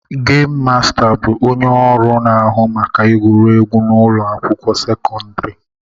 Gemu Masta bụ onye ọrụ na-ahụ maka egwuregwu na ụlọ akwụkwọ sekọndrị